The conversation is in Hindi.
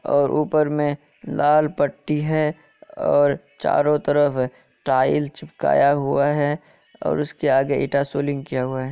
और ऊपर मे लाल पट्टी है और चारों तरफ टाइल चिपकाया हुआ है और उसके आगे ईटा सोलिग किया हुआ है।